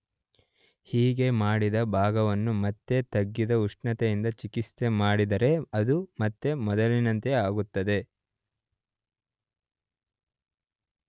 ಹೀಗೆ ಮಾಡಿದ ಭಾಗವನ್ನು ಮತ್ತೆ ತಗ್ಗಿದ ಉಷ್ಣತೆಯಿಂದ ಚಿಕಿತ್ಸೆ ಮಾಡಿದರೆ ಅದು ಮತ್ತೆ ಮೊದಲಿನಂತೆ ಆಗುತ್ತದೆ.